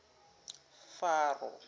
faro